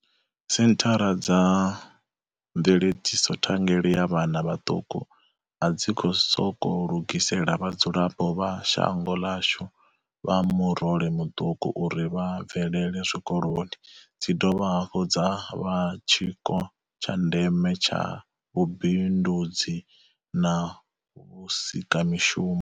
Senthara dza mveledziso thangeli ya vhana vhaṱuku a dzi sokou lugisela vha dzulapo vha shango ḽashu vha murole muṱuku uri vha bvelele zwikoloni, dzi dovha hafhu dza vha tshiko tsha ndeme tsha vhu bindudzi na vhusika mishumo.